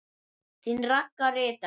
Þín Ragga ritari.